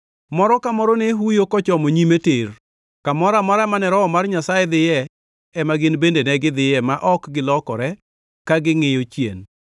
Moro ka moro ne huyo kochomo nyime tir. Kamoro amora mane Roho mar Nyasaye dhiye ema gin bende negidhiye ma ok gilokre ka gingʼiyo chien.